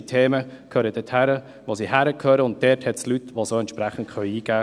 Diese Themen gehören dorthin, wo sie hingehören, und dort hat es Leute, die sie einbringen können.